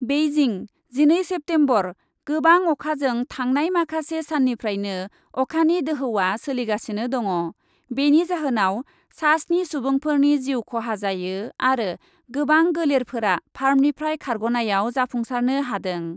Beijing, जिनै September, गोबां अखाजों थांनाय माखासे साननिफ्रायनो अखानि दोहौआ सोलिगासिनो दङ। बेनि जाहोनाव सास्नि सुबुंफोरनि जिउ खहा जायो आरो गोबां गोलेरफोरा फार्मनिफ्राय खारग'नायाव जाफुंसारनो हादों।